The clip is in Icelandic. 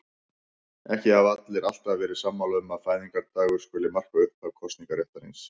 Ekki hafa allir alltaf verið sammála um að fæðingardagur skuli marka upphaf kosningaréttarins.